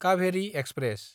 Kaveri express